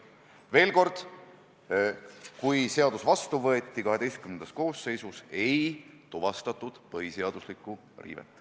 Veel kord: kui seadus XII-s koosseisus vastu võeti, siis ei tuvastatud põhiseaduse riivet.